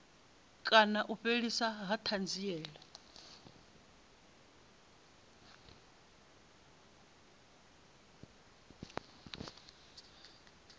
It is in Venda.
kana u fheliswa ha thanziela